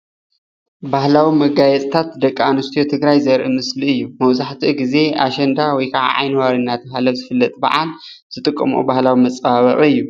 ባህላዊ መጋየፅታት ደቂ ኣነስትዮ ትግራይ ዘርኢ ምስሊ እዩ፡፡ መብዛሕትኡ ግዜ ኣሸንዳ ወይ ከዓ ዓይኒ ዋሪ እናተባሃለ ዝፍለጥ በዓል ዝጥቀመኦ ባህላዊ መፀባበቂ እዩ፡፡